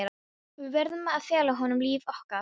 Við verðum að fela honum líf okkar.